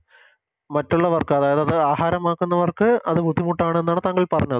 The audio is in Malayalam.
മറ്റുള്ളവർക്ക് അതയാത്ത ആഹാരമാക്കുന്നവർക്ക് അത് ബുദ്ധിമുട്ടാണ് എന്നാണ് താങ്കൾ പറഞ്ഞത്